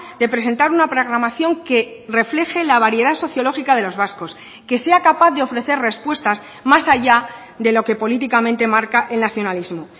de presentar una programación que refleje la variedad sociológica de los vascos que sea capaz de ofrecer respuestas más allá de lo que políticamente marca el nacionalismo